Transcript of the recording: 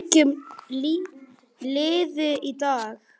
Það lýsti henni sjálfri vel.